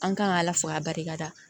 An kan ka ala fo a barika da